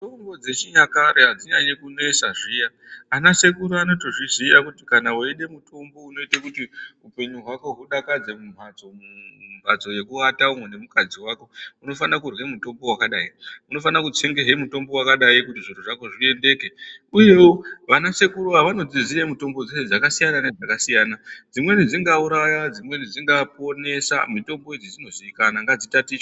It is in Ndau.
Mitombo dzechinyakare adzinyanyi kunesa zviya. Ana sekuru anotozviziya kuti kana weider mutombo unoite kutu hupenyu hwako udakadze mumbatso yekuata umwu nemukadzi wako unofana kurya mutombo wakadai. Unofana kutsengahe mutombo wakadai kuti zviro zvako zviendeke uye vanasekuru ava vanodziziya mitombo dzeshe dzakasiyana siyana. Dzimweni dzingauraya dzimweni dzingaponesa mitombo idzi dzinozikanwa ngadzitatichwe.